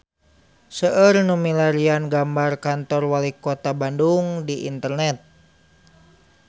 Seueur nu milarian gambar Kantor Walikota Bandung di internet